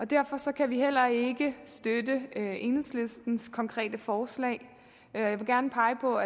derfor kan vi heller ikke støtte enhedslistens konkrete forslag jeg vil gerne pege på